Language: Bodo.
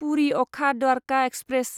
पुरि अखा द्वारखा एक्सप्रेस